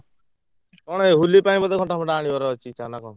କଣ ଏଇ ହୋଲି ପାଇଁ ବୋଧେ ଘଣ୍ଟା ଫଣ୍ଟା ଆଣିବାରଅଛି ଇଚ୍ଛା ନା କଣ?